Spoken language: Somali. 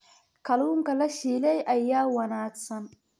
Kalluunka la shiilay ayaa wanaagsan.